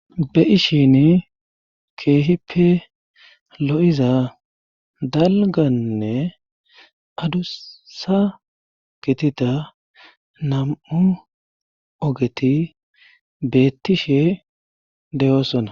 be7ishin keehippe lo7iza dalganne adusa gitida nam7u ogeti beettishe deyoosonna